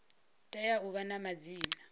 tea u vha na madzina